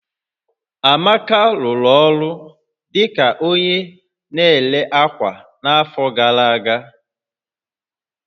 Amaka rụrụ ọrụ dị ka onye na-ere ákwà n'afọ gara aga